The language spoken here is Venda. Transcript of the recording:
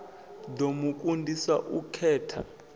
ḓo mu kundisa u khetha